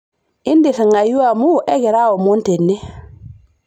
intirring'ayu amuuu ekira omon tene